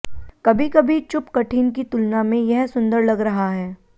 कभी कभी चुप कठिन की तुलना में यह सुंदर लग रहा है